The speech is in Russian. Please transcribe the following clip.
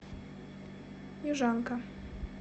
южанка